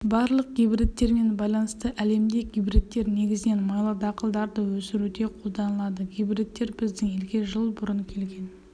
барлық гибридтермен байланысты әлемде гибридтер негізінен майлы дақылдыларды өсіруде қолданылады гибридтер біздің елге жыл бұрын келген